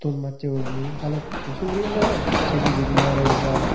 ton macche gurinei balukko suguri gaj agon se pijedi narigul gaj.